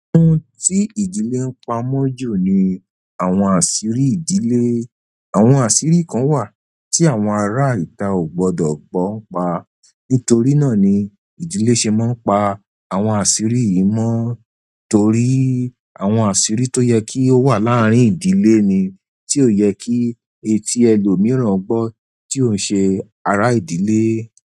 Ohun tí ìdílé ń pamọ́ jù ni àwọn àṣírí ìdílé. Àwọn àṣírí kan wà tí àwọn ará ìta ò gbọdọ̀ gbọ́ pa. Nítorí náà ni ìdílé ṣe máa ń pa àwọn àṣírí yìí mọ́ torí àwọn àṣírí tó yẹ kí ó wà láàárín ìdílé ni, tí ò yẹ kí etí ẹlòmíràn gbọ́ tí ò ń ṣe ará ìdílé.